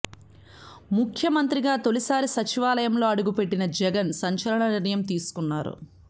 ముఖ్యమంత్రిగా తొలి సారి సచివాలయంలో అడుగు పెట్టిన జగన్ సంచలన నిర్ణయం తీసుకున్నారు